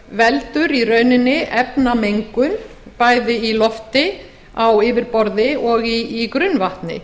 veldur í rauninni efnamengun í lofti á yfirborði og í grunnvatni